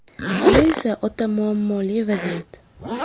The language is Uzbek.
Bu esa o‘ta muammoli vaziyat.